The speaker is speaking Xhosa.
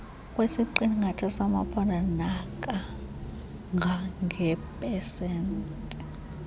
kwesiqingatha samaphondo nakangangeepesenti